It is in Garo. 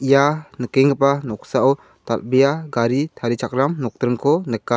ia nikenggipa noksao dal·bea gari tarichakram nokdringko nika.